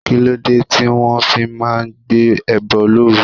Kí ló dé tí wọ́n fi máa ń gbé ẹbọ looru?